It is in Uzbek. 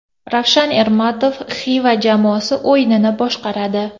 Ravshan Ermatov Xavi jamoasi o‘yinini boshqaradi.